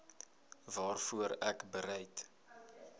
waarvoor ek bereid